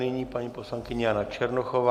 Nyní paní poslankyně Jana Černochová.